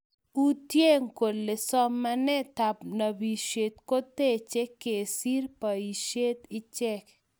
Uutye kole somanetab nopishet koteche kesiir boishet ichee